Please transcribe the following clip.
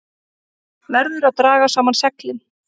Verður að draga saman seglin